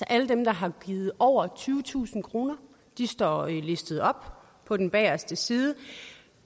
alle dem der har givet over tyvetusind kroner de står listet op på den bageste side